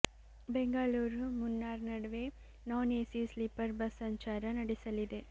ಬೆಂಗಳೂರು ಮುನ್ನಾರ್ ನಡುವೆ non AC sleeper bus ಸಂಚಾರ ನಡೆಸಲಿದೆ